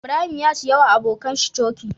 Ibrahim ya siya wa abokan shi coke